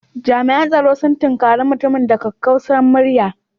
Jami'an tsaro sun tunkare mutumin da kakkausar murya